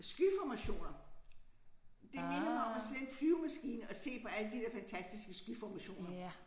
Skyformationer det minder mig om at sidde i en flyvemaskine og se på alle de der fantastiske skyformationer